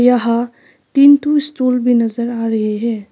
यहां तीन ठो स्टूल भी नजर आ रहे हैं।